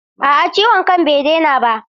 A'a ciwon kan bai daina ba?